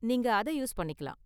நீங்க அத யூஸ் பண்ணிக்கலாம்.